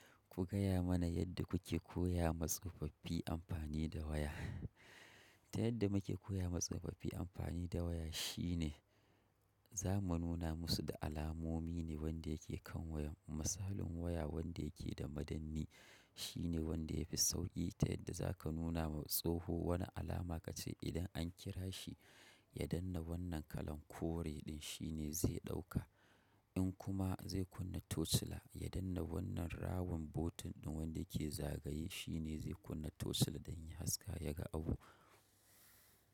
Ku gaya mana yadda kuke koya ma tsofaffi amfani da waya. Ta yadda muke koya ma tsofaffi amfani da waya shine za mu nuna musu da alamomi ne wanda yake kan wayan. Misalin waya wanda yake da madannai shine wanda ya fi sauƙi ta yadda za ka nuna ma tsoho wani alama ka ce idan an kira shi ya danne wannan kalan kore ɗin shine zai ɗauka. In kuma zai kunna torchlight ya danne wannan rawan botan ɗin wanda yake zagaye shi ne zai kunna torchlight don ya haske ya ga abu.